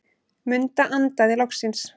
Munda andaði loksins.